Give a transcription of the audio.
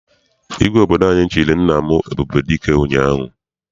Igwe obodo anyị chịrị nna m Ebubedike ụnyaahụ.